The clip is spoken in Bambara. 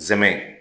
Zɛmɛ